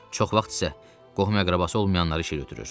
Çox vaxt isə qohum-əqrəbası olmayanları işə götürür.